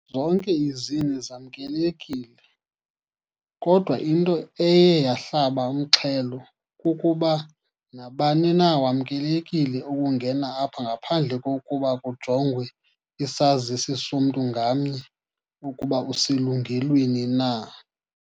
Zonke izini zamnkelekile, kodwa into eye yahlaba umxhelo kukuba nabani na wamnkelekile ukungena apha ngaphandle kokuba kujongwe isazisi somntu ngamnye ukuba uselungelweni na.